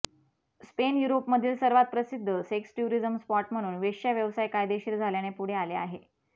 Spain युरोपमधील सर्वात प्रसिद्ध सेक्स टुरिझम स्पॉट म्हणून वेश्या व्यवसाय कायदेशीर झाल्याने पुढे आले आहे